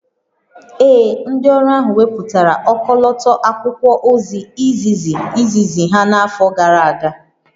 Ee, ndị ọrụ ahụ wepụtara ọkọlọtọ akwụkwọ ozi izizi izizi ha n'afọ gara aga